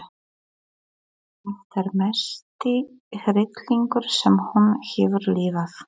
Þetta er mesti hryllingur sem hún hefur lifað.